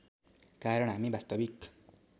कारण हामी वास्तविक